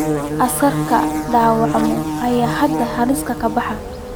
Askariga dhaawacmay ayaa hadda halis ka baxay.